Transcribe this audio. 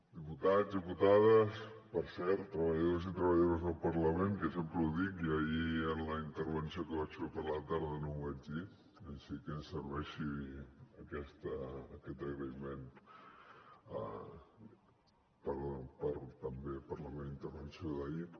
diputats diputades i per cert treballadors i treballadores del parlament que sempre ho dic i ahir en la intervenció que vaig fer per la tarda no ho vaig dir així que serveixi aquest agraïment també per la meva intervenció d’ahir